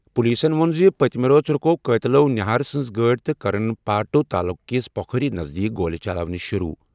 پُلیٖسن ووٚن زِ پٔتمہِ رٲژ رُکٲوِ قٲتِلَو نِہار سٕنٛز گاڑِ تہٕ کٔرٕن پارٹو تعلقہٕ کِس پو کھوری نزدیٖک گولہِ چلاونہِ شروٗع۔